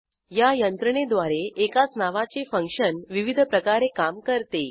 या यंत्रणेद्वारे एकाच नावाचे फंक्शन विविध प्रकारे काम करते